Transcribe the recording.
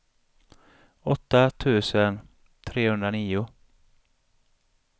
åtta tusen trehundranio